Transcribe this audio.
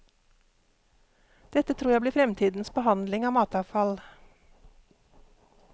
Dette tror jeg blir fremtidens behandling av matavfall.